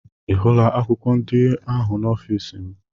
Ị hụla akwụkwọ ndị ahụ n'ọfịsi m?